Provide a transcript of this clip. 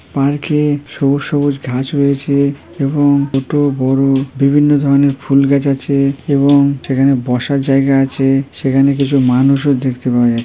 park এ সবুজ সবুজ ঘাস হয়েছে এবং ছোট বড়ো বিভিন্ন ধরনের ফুল গাছ আছে এবং সেখানে বসার জায়গা আছে সেখানে কিছু মানুষও দেখতে পাওয়া যা--